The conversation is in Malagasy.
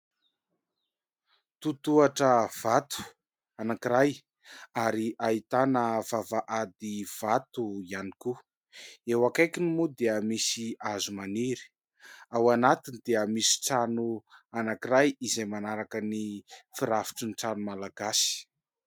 Totohatra vato anankiray ary ahitana vavahady vato ihany koa. Eo akaikiny moa dia misy hazo maniry. Ao anatiny dia misy trano anankiray izay manaraka ny firafitry ny trano malagasy.